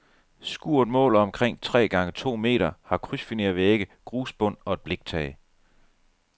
Skuret måler omkring tre gange to meter, har krydsfinervægge, grusbund og et bliktag.